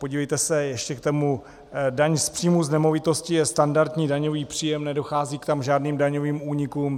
Podívejte se, ještě k tomu daň z příjmu z nemovitosti je standardní daňový příjem, nedochází tam k žádným daňovým únikům.